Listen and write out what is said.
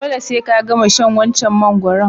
Dole se ka gama shan wancan mangoron.